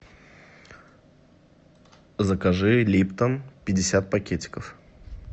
закажи липтон пятьдесят пакетиков